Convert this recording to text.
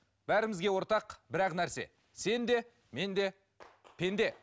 бәрімізге ортақ бір ақ нәрсе сен де мен де пенде